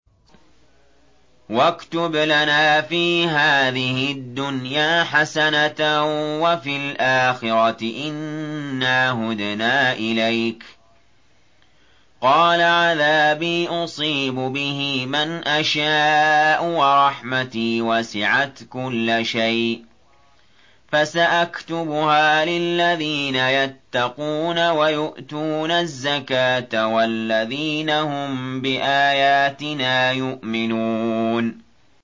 ۞ وَاكْتُبْ لَنَا فِي هَٰذِهِ الدُّنْيَا حَسَنَةً وَفِي الْآخِرَةِ إِنَّا هُدْنَا إِلَيْكَ ۚ قَالَ عَذَابِي أُصِيبُ بِهِ مَنْ أَشَاءُ ۖ وَرَحْمَتِي وَسِعَتْ كُلَّ شَيْءٍ ۚ فَسَأَكْتُبُهَا لِلَّذِينَ يَتَّقُونَ وَيُؤْتُونَ الزَّكَاةَ وَالَّذِينَ هُم بِآيَاتِنَا يُؤْمِنُونَ